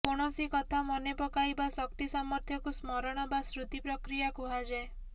କୌଣସି କଥା ମନେପକାଇବା ଶକ୍ତି ସାମର୍ଥ୍ୟକୁ ସ୍ମରଣ ବା ସ୍ମୃତି ପ୍ରକ୍ରିୟା କୁହାଯାଏ